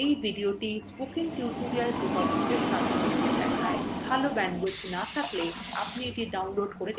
এই video spoken tutorial প্রকল্পকে সারসংক্ষেপে দেখায়